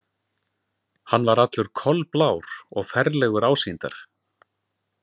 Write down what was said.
Hann var allur kolblár og ferlegur ásýndar.